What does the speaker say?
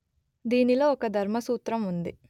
దీనిలో ఒక ధర్మసూత్రం ఉంది